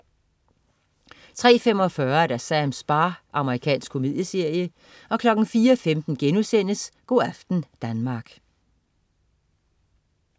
03.45 Sams bar. Amerikansk komedieserie 04.15 Go' aften Danmark*